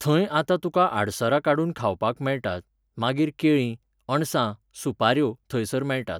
थंय आतां तुका आडसरां काडून खावपाक मेळटात, मागीर केळी, अणसां, सुपाऱ्यो, थंयसर मेळटात.